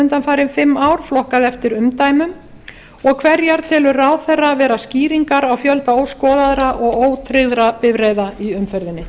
undanfarin fimm ár flokkað eftir umdæmum og hverjar telur ráðherra vera skýringar á fjölda óskoðaðra og ótryggðra bifreiða í umferðinni